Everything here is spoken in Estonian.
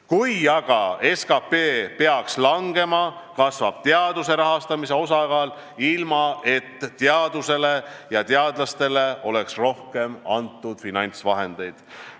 Kui aga SKP peaks langema, kasvab teaduse rahastamise osakaal, ilma et teadusele ja teadlastele oleks antud rohkem finantsvahendeid.